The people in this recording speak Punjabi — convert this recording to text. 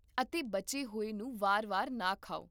ਅਤੇ ਬਚੇ ਹੋਏ ਨੂੰ ਵਾਰ ਵਾਰ ਨਾ ਖਾਓ